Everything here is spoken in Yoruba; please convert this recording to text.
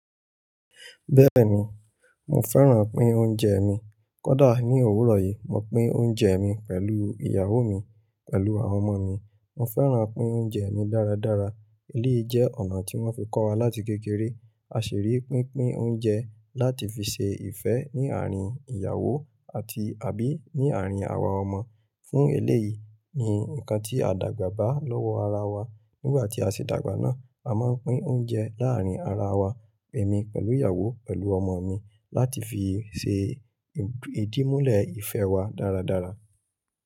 Bẹ́ẹ̀ni, mo fẹ́ràn pín oúnjẹ mi. Kódà ní òwúrọ̀ yìí, mo pín oúnjẹ mi pẹ̀lú ìyàwó mi, pẹ̀lú àwọn ọmọ mi. Mo fẹ́ràn pín oúnjẹ mi dáradára. Èléyìí jẹ́ ọ̀nà tí wọ́n fi kọ́ wa láti kékeré. A sì rí pínpín oúnjẹ láti fi ṣe ìfẹ́ ní àárín ìyàwó àti àbí ní àárín àwa ọmọ. Fún eléyìí ni nǹkan tí a dàgbà bá lọ́wọ́ ara wa. Nígbà tí a ṣe dàgbà náà, a máa ń pín oúnjẹ láàárín ara wa, èmi pẹ̀lú ìyàwó, pẹ̀lú ọmọ mi láti fi ṣe ìdìmúlẹ̀ ìfẹ́ wa dáradára.